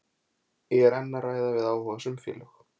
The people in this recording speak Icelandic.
Ég er enn að ræða við áhugasöm félög.